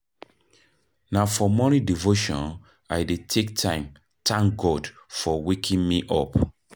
Na for morning devotion I dey take time tank God for waking me up.